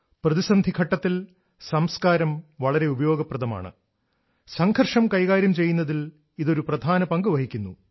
പ്രതിസന്ധിഘട്ടത്തിൽ സംസ്കാരം വളരെ ഉപയോഗപ്രദമാണ് സംഘർഷം കൈകാര്യം ചെയ്യുന്നതിൽ ഇത് ഒരു പ്രധാന പങ്ക് വഹിക്കുന്നു